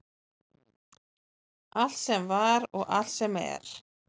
Allt sem var og allt sem er.